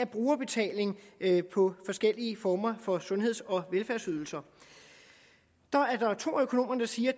brugerbetaling på forskellige former for sundheds og velfærdsydelser to af økonomerne siger